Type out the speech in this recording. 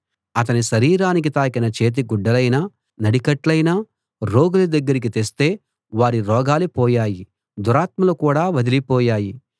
అతని శరీరానికి తాకిన చేతిగుడ్డలయినా నడికట్లయినా రోగుల దగ్గరికి తెస్తే వారి రోగాలు పోయాయి దురాత్మలు కూడా వదలిపోయాయి